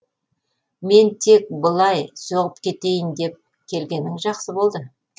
мен тек былай соғып кетейін деп келгенің жақсы болды